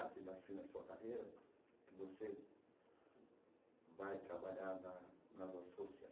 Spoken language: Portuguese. na sua carreira que você vai trabalhar na nas